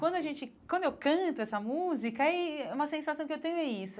Quando a gente quando eu canto essa música, uma sensação que eu tenho é isso.